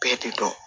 Bɛɛ de don